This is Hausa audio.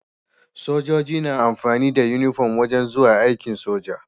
Sojoji na amfani da inufom wajan zuwa aikin soja